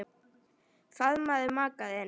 Faðmaðu maka þinn.